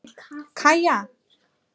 Kaja